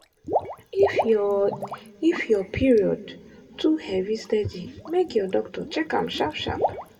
if your if your period too heavy steady make your doctor check am sharp sharp.